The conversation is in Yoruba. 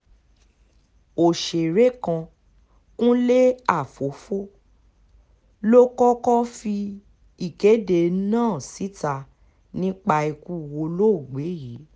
ọ̀sẹ̀rẹ̀ kan kúnlé àfọ́fọ́ ló kọ́kọ́ fi ìkéde náà síta nípa ikú olóògbé yìí